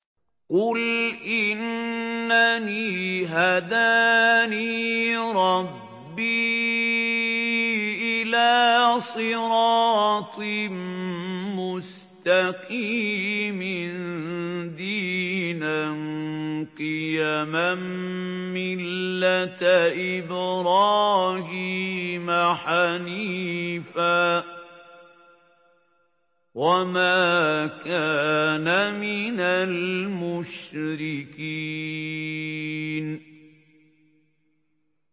قُلْ إِنَّنِي هَدَانِي رَبِّي إِلَىٰ صِرَاطٍ مُّسْتَقِيمٍ دِينًا قِيَمًا مِّلَّةَ إِبْرَاهِيمَ حَنِيفًا ۚ وَمَا كَانَ مِنَ الْمُشْرِكِينَ